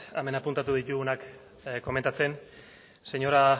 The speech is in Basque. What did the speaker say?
hemen apuntatu ditugunak komentatzen señora